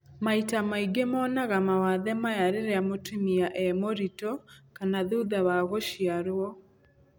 Maita maingĩ monaga mawathe maya rĩrĩa mũtumia e mũritũ kana thutha wa gũciarwo.